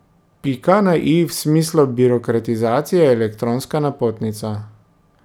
Pika na i v smislu birokratizacije je elektronska napotnica.